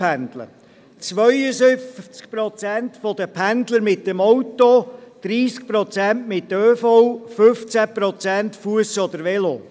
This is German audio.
52 Prozent der Pendler verwenden das Auto, 30 Prozent den ÖV, 15 Prozent gehen zu Fuss oder fahren mit dem Velo.